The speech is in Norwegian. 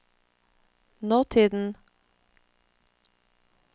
nåtiden